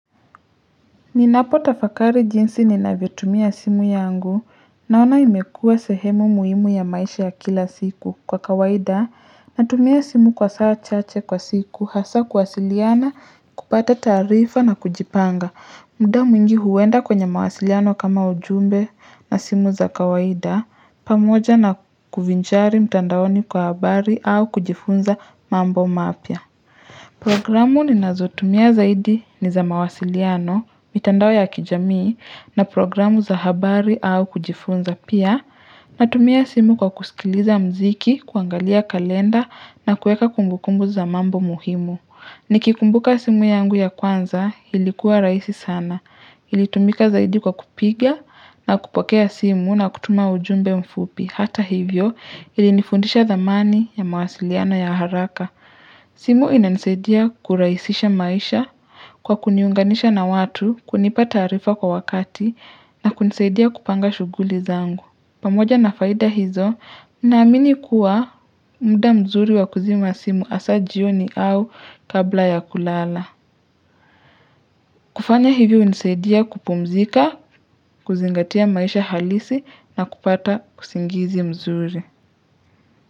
Ninapo tafakari jinsi ninavyotumia simu yangu naona imekua sehemu muhimu ya maisha ya kila siku kwa kawaida natumia simu kwa saa chache kwa siku hasa kuwasiliana, kupata taarifa na kujipanga. Mda mwingi huwenda kwenye mawasiliano kama ujumbe na simu za kawaida pamoja na kuvinchari mtandaoni kwa habari au kujifunza mambo mapya. Programu ninazotumia zaidi ni za mawasiliano, mitandao ya kijamii na programu za habari au kujifunza pia natumia simu kwa kusikiliza mziki, kuangalia kalenda na kueka kumbukumbu za mambo muhimu. Nikikumbuka simu yangu ya kwanza ilikuwa raisi sana. Ilitumika zaidi kwa kupiga na kupokea simu na kutuma ujumbe mfupi. Hata hivyo ilinifundisha thamani ya mawasiliano ya haraka. Simu inanisaidia kuraisisha maisha kwa kuniunganisha na watu kunipa taarifa kwa wakati na kunisaidia kupanga shughuli zangu. Pamoja na faida hizo, naamini kuwa mda mzuri wa kuzima simu asaa jioni au kabla ya kulala. Kufanya hivyo unisaidia kupumzika, kuzingatia maisha halisi na kupata usingizi mzuri.